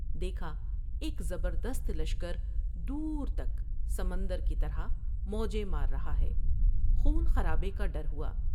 دیکھا ایک زبردست لشکر دور تک سمندر کی طرح موجیں مار رہا ہے ، خون خرابے کا ڈر ہوا ۔